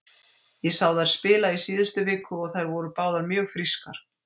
Ég sá þær spila í síðustu viku og þær voru báðar mjög frískar.